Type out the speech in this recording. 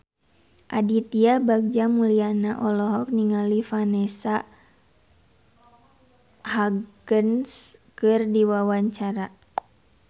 Aditya Bagja Mulyana olohok ningali Vanessa Hudgens keur diwawancara